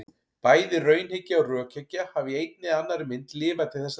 Bæði raunhyggja og rökhyggja hafa í einni eða annarri mynd lifað til þessa dags.